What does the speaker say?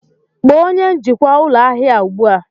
Kpọọ onye njikwa ụlọ ahịa a ugbu a!